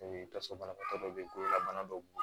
tasuma banabagatɔ dɔ bɛ kololabana dɔw bɔ